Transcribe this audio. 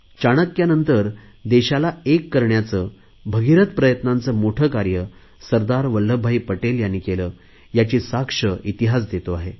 चाणक्यानंतर देशाला एक करण्याचे भगिरथ प्रयत्नांचे मोठे कार्य सरदार वल्लभभाई पटेल यांनी केले याची साक्ष इतिहास देतो आहे